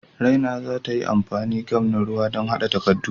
Raina za ta yi amfani gam na ruwa don haɗa takaddun.